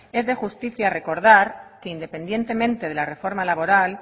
es de justicia recordar que independientemente de la reforma laboral